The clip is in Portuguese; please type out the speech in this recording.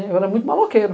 Eu era muito maloqueira.